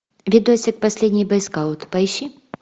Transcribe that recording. видосик последний бойскаут поищи